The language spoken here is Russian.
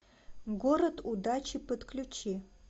город удачи подключи